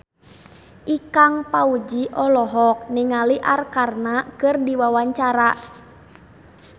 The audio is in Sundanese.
Ikang Fawzi olohok ningali Arkarna keur diwawancara